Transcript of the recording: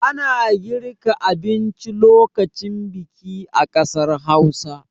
Ana girka abinci lokacin biki a ƙasar Hausa.